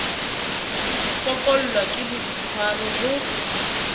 ho fokollwa ke boitswaro ho